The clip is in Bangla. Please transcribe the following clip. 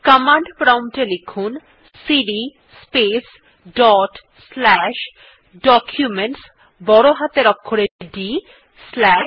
কমান্ড প্রম্পট এ লিখুন সিডি স্পেস ডট স্লাশ Documentsবড় হাতের অক্ষরে ডি স্লাশ